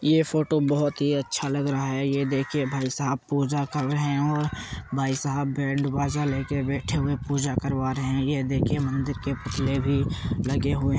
ये फोटो बोहोत ही अच्छा लग रहा है। ये देखिए भाई साहब पूजा कर रहे है और भाई साहब बैंड बाजा लेके बैठे हुए पूजा करवा रहे हैं। ये देखिए मंदिर के पिछले भी लगे हुए --